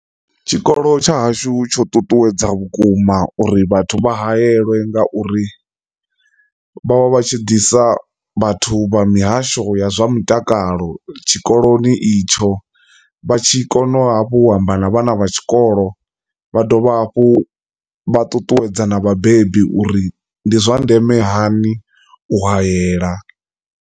Tshikolo tsha hashu tsho nṱuṱuwedza vhukuma uri vhathu vha hayeliwe ngauri vha vha vha tshi disa vhathu vha mihasho ya zwa mutakalo tshikoloni itsho vha tshi kone u hafhu u amba na vhana vha tshikolo vha dovha hafhu vha ṱuṱuwedza na vhabebi uri ndi zwa ndeme hani u hayela.